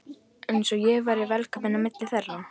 Eins og ég væri velkominn á milli þeirra.